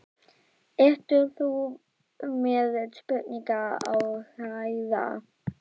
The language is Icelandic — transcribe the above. Ert þú með spurningu á Hreiðar?